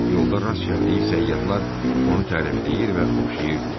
Yolda rast gəldiyi səyyahlar onu tərifləyir və oxşayırdılar.